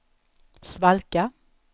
svalka